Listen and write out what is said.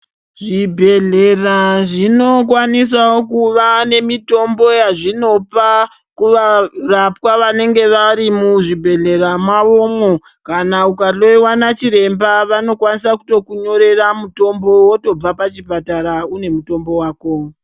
Zvibhedhlera zvinokwanisawo kuva nemitombo yazvinopa kuvarapwa vanenge vari muzvibhedhlera mavomwo kana ukahloyiwa nachiremba vanokwanisa kutokunyorera mutombo wotobva pachipatara une mutombo wako.